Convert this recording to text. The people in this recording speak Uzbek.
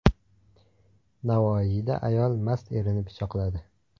Navoiyda ayol mast erini pichoqladi.